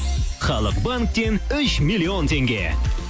халық банктен үш миллион теңге